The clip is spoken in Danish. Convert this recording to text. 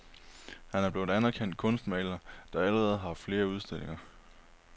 Han er blevet en anerkendt kunstmaler, der allerede har haft flere udstillinger.